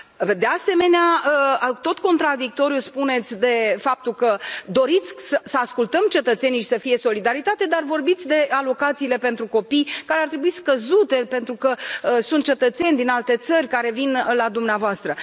De asemenea, tot contradictoriu, spuneți de faptul că doriți să ascultăm cetățenii și să fie solidaritate, dar vorbiți de alocațiile pentru copii, care ar trebui scăzute pentru că sunt cetățeni din alte țări care vin la dumneavoastră.